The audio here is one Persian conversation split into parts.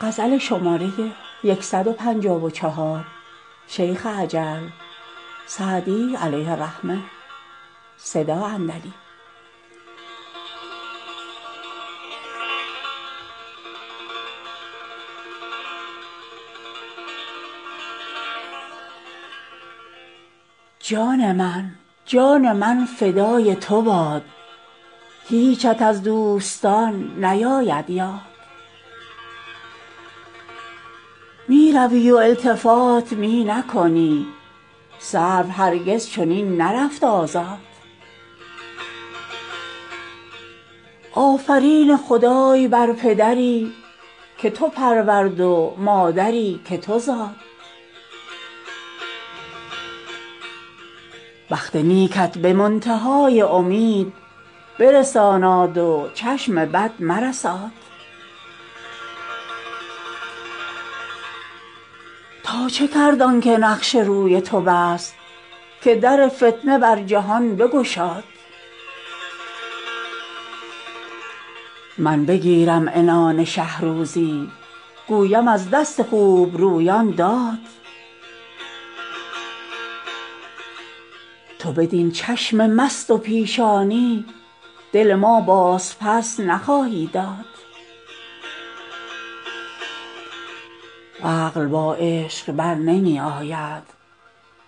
جان من جان من فدای تو باد هیچت از دوستان نیاید یاد می روی و التفات می نکنی سرو هرگز چنین نرفت آزاد آفرین خدای بر پدری که تو پرورد و مادری که تو زاد بخت نیکت به منتها ی امید برساناد و چشم بد مرساد تا چه کرد آن که نقش روی تو بست که در فتنه بر جهان بگشاد من بگیرم عنان شه روزی گویم از دست خوبرویان داد تو بدین چشم مست و پیشانی دل ما بازپس نخواهی داد عقل با عشق بر نمی آید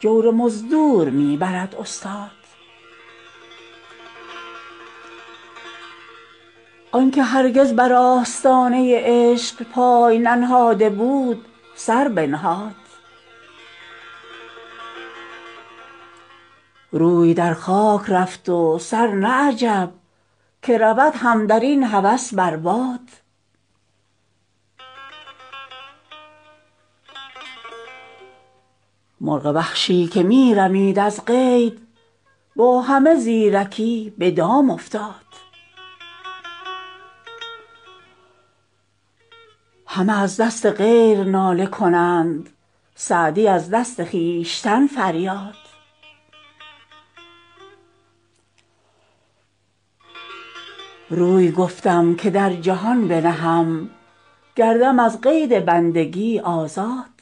جور مزدور می برد استاد آن که هرگز بر آستانه عشق پای ننهاده بود سر بنهاد روی در خاک رفت و سر نه عجب که رود هم در این هوس بر باد مرغ وحشی که می رمید از قید با همه زیرکی به دام افتاد همه از دست غیر ناله کنند سعدی از دست خویشتن فریاد روی گفتم که در جهان بنهم گردم از قید بندگی آزاد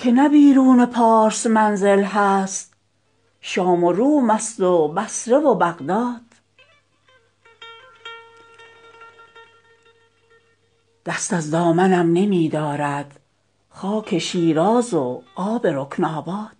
که نه بیرون پارس منزل هست شام و روم ست و بصره و بغداد دست از دامنم نمی دارد خاک شیراز و آب رکن آباد